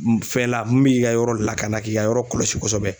Fɛn la mun b'i ka yɔrɔ lakana k'i ka yɔrɔ kɔlɔsi kosɛbɛ